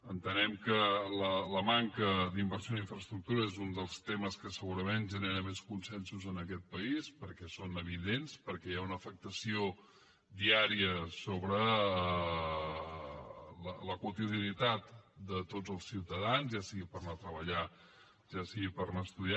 entenem que la manca d’inversió en infraestructures és un dels temes que segurament genera més consensos en aquest país perquè són evidents perquè hi ha una afectació diària sobre la quotidianitat de tots els ciutadans ja sigui per anar a treballar ja sigui per anar a estudiar